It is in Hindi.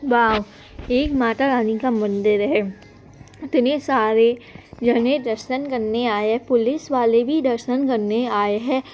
वाओ एक माता रानी का मंदिर है इतने सारे दर्शन करने आये है पुलिस वाले भी दर्शन करने आये है।